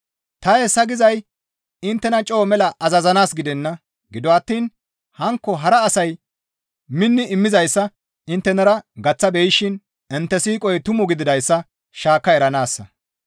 Ta hessa gizay inttena coo mela azazanaas gidenna; gido attiin hankko hara asay minni immizayssa inttenara gaththa beyishin intte siiqoy tumu gididayssa shaakka eranaassa.